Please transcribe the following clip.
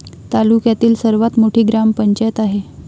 तालुक्यातील सर्वात मोठी ग्रामपंचायत आहे.